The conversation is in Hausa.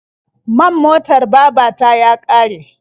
Man motar baba ta ya ƙare.